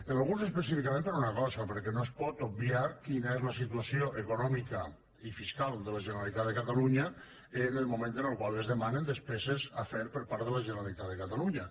en alguns específicament per una cosa perquè no es pot obviar quina és la situació econò mica i fiscal de la generalitat de catalunya en el moment en el qual es demanen despeses a fer per part de la generalitat de catalunya